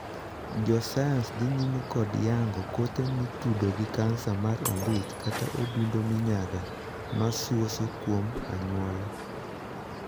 Jo sayans dhii nyime kod yango kothe mitudo gi kansa mar ombich kata odundu minyaga ma suoso kuom anyuola.